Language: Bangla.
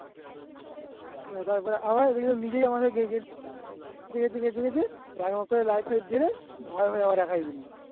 তারপরে আবার নিজেই